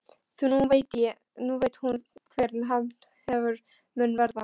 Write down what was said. Því nú veit hún hver hefnd hennar mun verða.